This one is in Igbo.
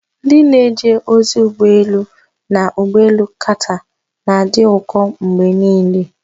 Ndị na-eje ozi ụgbọ elu na ụgbọ elu Qatar na-adị ụkọ mgbe niile.